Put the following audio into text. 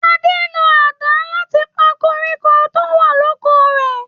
Ade ń lo àdá láti pa koríko tó wà l'oko rè.